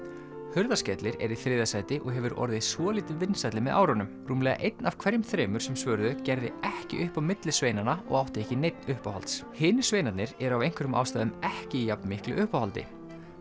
Hurðaskellir er í þriðja sæti og hefur orðið svolítið vinsælli með árunum rúmlega einn af hverjum þremur sem svöruðu gerði ekki upp á milli sveinanna og átti ekki neinn uppáhalds hinir sveinarnir eru af einhverjum ástæðum ekki í jafnmiklu uppáhaldi